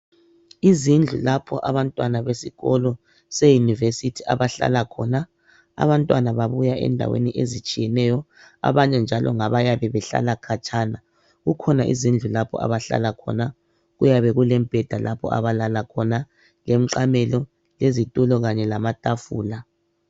Izindlu lapho abantwana besikolo seYunivesi abahlala khona. Abantwana babuya endaweni ezitshiyeneyo, abanye njalo ngabayabe behlala khatshana. Kukhona izindlu lapho abahlala khona kuyabe kulemibheda lapho abalala khona, lemqamelo, lezitulo kanye lamatafula.